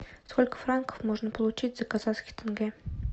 сколько франков можно получить за казахский тенге